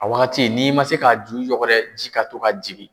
A wagati n'i ma se ka a du yɔkɔrɔ ji ka to ka jigi.